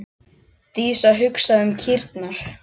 Dísa hugsaði um kýrnar.